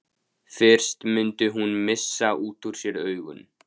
Fyrst mundi hún missa út úr sér augun.